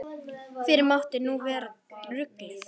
Fyrr mátti nú vera ruglið!